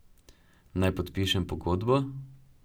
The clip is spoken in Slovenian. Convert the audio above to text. Naj podpišem pogodbo?